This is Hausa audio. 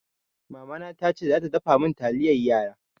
Mamana tace za ta dafa min taliyan yara.